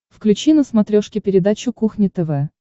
включи на смотрешке передачу кухня тв